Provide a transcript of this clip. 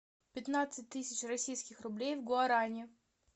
пятнадцать тысяч российских рублей в гуарани